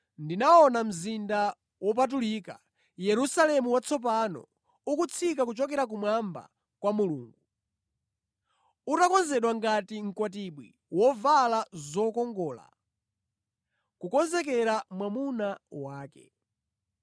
Ndinaona mzinda wopatulika, Yerusalemu watsopano, ukutsika kuchokera kumwamba kwa Mulungu, utakonzedwa ngati mkwatibwi wovala zokongola kukonzekera mwamuna wake.